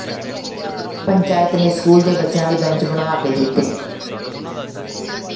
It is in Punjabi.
ਪੰਚਾਇਤ ਨੇ ਸਕੂਲ ਦੇ ਬੱਚਿਆਂ ਲਈ ਬੈਂਚ ਬਣਵਾ ਕੇ ਦਿੱਤੇ